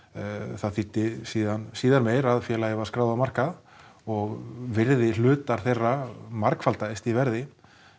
það þýddi síðar síðar meir að félagið varð skráð á markað og virði hlutar þeirra margfaldaðist í verði